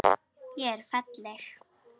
Ég er falleg.